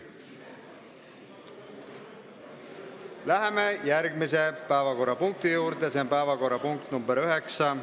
Läheme järgmise päevakorrapunkti juurde, s.o päevakorrapunkt nr 9.